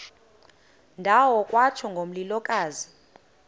ndawo kwatsho ngomlilokazi